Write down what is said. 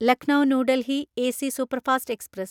Lucknow new Delhi AC superfast express